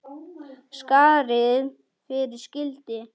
Skarð fyrir skildi.